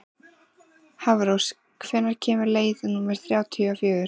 Hafrós, hvenær kemur leið númer þrjátíu og fjögur?